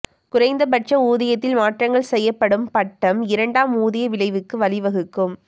குறைந்தபட்ச ஊதியத்தில் மாற்றங்கள் செய்யப்படும் பட்டம் இரண்டாம் ஊதிய விளைவுகளுக்கு வழிவகுக்கும்